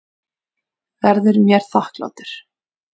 Verður mér þakklátur.